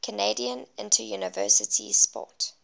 canadian interuniversity sport